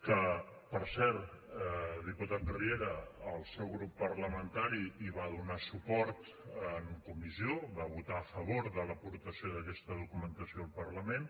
que per cert diputat riera el seu grup parlamentari hi va donar suport en comissió va votar a favor de l’aportació d’aquesta documentació al parlament